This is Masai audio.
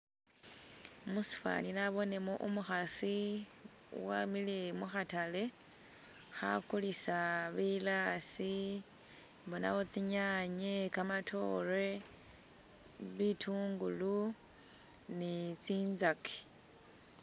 Musifwani nabonemo umukhasi wamile mukhatale, khakulisa bilaasi mbonamu tsinyaanye, kamatoore, bitungulu, ni tsinzaki.